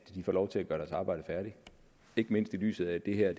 får lov til at gøre deres arbejde færdigt ikke mindst i lyset af at det her